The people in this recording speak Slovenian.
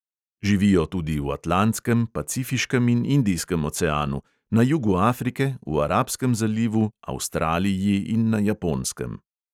Živijo tudi v atlantskem, pacifiškem in indijskem oceanu, na jugu afrike, v arabskem zalivu, avstraliji in na japonskem.